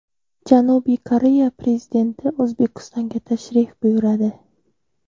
Janubiy Koreya prezidenti O‘zbekistonga tashrif buyuradi.